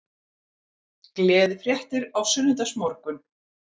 Gleðifréttir á sunnudagsmorgun